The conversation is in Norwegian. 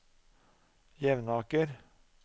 Jevnaker